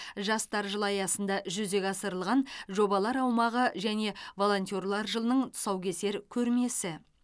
жастар жылы аясында жүзеге асырылған жобалар аумағы және волонтерлер жылының тұсаукесер көрмесі